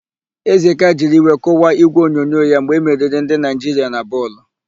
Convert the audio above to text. Ezeka jiri iwe kụwaa ígwèonyonyo ya mgbe emeriri ndị Naịjiria na bọọlụ.